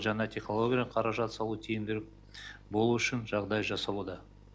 жаңа технология қаражат салуға тиімді болу үшін жағдай жасалуда